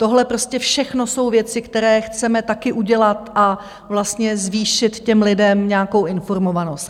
Tohle prostě všechno jsou věci, které chceme taky udělat a vlastně zvýšit těm lidem nějakou informovanost.